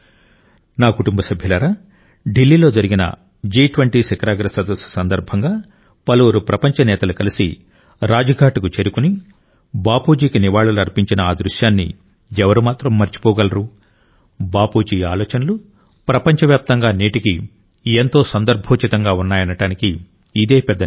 నా కుటుంబ సభ్యులారా ఢిల్లీలో జరిగిన జి20 శిఖరాగ్ర సదస్సు సందర్భంగా పలువురు ప్రపంచ నేతలు కలిసి రాజ్ఘాట్కు చేరుకుని బాపూజీకి నివాళులు అర్పించిన ఆ దృశ్యాన్ని ఎవరు మాత్రం మరిచిపోగలరు బాపూజీ ఆలోచనలు ప్రపంచవ్యాప్తంగా నేటికీ ఎంత సందర్భోచితంగా ఉన్నాయనడానికి ఇదే పెద్ద నిదర్శనం